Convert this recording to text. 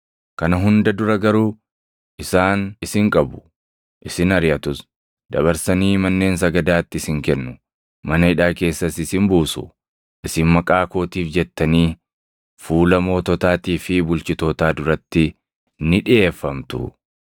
“Kana hunda dura garuu isaan isin qabu; isin ariʼatus. Dabarsanii manneen sagadaatti isin kennu; mana hidhaa keessas isin buusu; isin maqaa kootiif jettanii fuula moototaatii fi bulchitootaa duratti ni dhiʼeeffamtu.